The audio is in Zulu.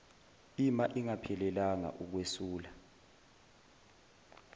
ima ingaphelelanga ukwesula